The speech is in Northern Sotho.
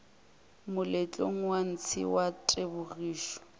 moletlong wa ntshe wa tebogišo